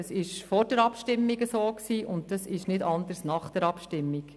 Das war vor der Abstimmung so, und das ist nicht anders nach der Abstimmung.